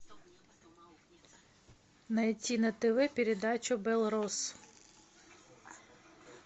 найти на тв передачу белрос